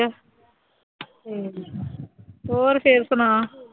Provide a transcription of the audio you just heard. ਹੋਰ ਫਿਰ ਸੁਣਾ